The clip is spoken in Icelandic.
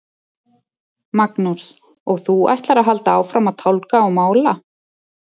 Magnús: Og þú ætlar að halda áfram að tálga og mála?